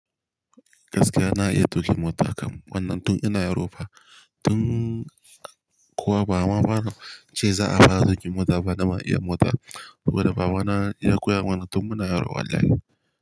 Gaskiya na iya tuƙin mota kam wannan tun ina yarofa. Tun kuwa baba ce za a fara tuƙi mota bana ma iya mota. Saboda baba na ya koya mana tun muna yaro wallahi.